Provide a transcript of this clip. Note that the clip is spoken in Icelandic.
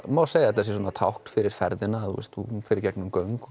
má segja að þetta sé tákn fyrir ferðina hún fer í gegnum göng